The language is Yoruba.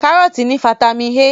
Kárọ́tì ní fataímìn A.